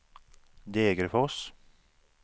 Degerfors